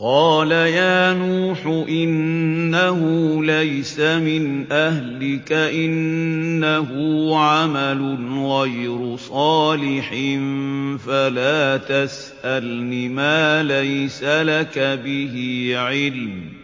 قَالَ يَا نُوحُ إِنَّهُ لَيْسَ مِنْ أَهْلِكَ ۖ إِنَّهُ عَمَلٌ غَيْرُ صَالِحٍ ۖ فَلَا تَسْأَلْنِ مَا لَيْسَ لَكَ بِهِ عِلْمٌ ۖ